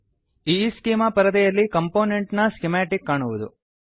ಈಸ್ಚೆಮಾ ಈಸ್ಕೀಮಾ ಪರದೆಯಲ್ಲಿ ಕಂಪೊನೆಂಟ್ ನ ಸ್ಕಿಮಾಟಿಕ್ ಕಾಣುವುದು